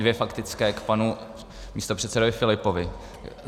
Dvě faktické k panu místopředsedovi Filipovi.